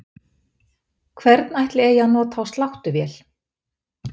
Hvern ætli eigi að nota á sláttuvél?